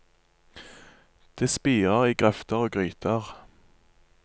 Det spirer i grøfter og gryter.